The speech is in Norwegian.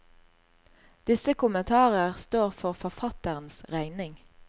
Disse kommentarer står for forfatterens regning.